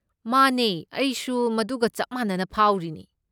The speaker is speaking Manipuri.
ꯃꯥꯅꯦ ꯑꯩꯁꯨ ꯃꯗꯨꯒ ꯆꯞ ꯃꯥꯟꯅꯅ ꯐꯥꯎꯔꯤꯅꯦ꯫